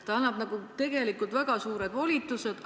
See annab tegelikult valitsusele väga suured volitused.